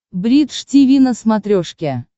бридж тиви на смотрешке